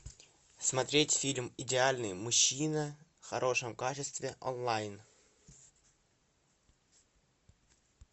смотреть фильм идеальный мужчина в хорошем качестве онлайн